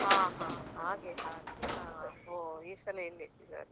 ಹ ಹಾ ಹಾಗೆ ಹಾಗೆ ಹ ಹೋ ಈ ಸಲ ಇಲ್ಲಿ ಇಟ್ಟಿದ್ದಾರೆ.